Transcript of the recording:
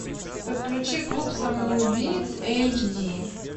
подключи клуб самоубийц эйч ди